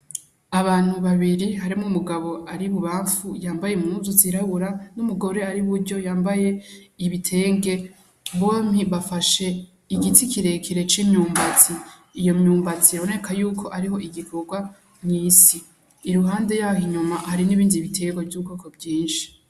Abantu babiri harimwo umugabo ari ibubanfu yambaye impuzu zirabura n'umugore ari iburyo yambaye ibitenge bompi bafashe igiti kirekire c'imyumbati iyo myumbati iraboneka yuko ariho igikurwa mwisi iruhande yaho inyuma hari n'ibindi biterwa vyu bwoko bwishi.